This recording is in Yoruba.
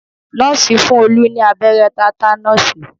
Nọ́ọ̀sì fún Olú ní abẹ́rẹ́ tátánọ̀sì